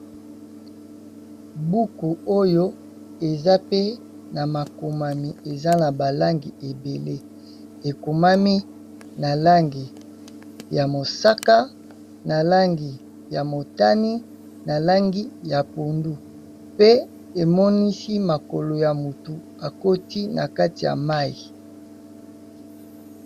Buku oyo eza pe na makomami eza na ba langi ebele ekomami na langi ya mosaka, na langi ya motani, na langi ya pondu, pe emonisi makolo ya motu akoti na kati ya mayi.